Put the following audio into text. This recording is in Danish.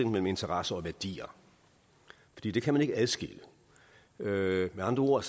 mellem interesser og værdier fordi det kan man ikke adskille med andre ord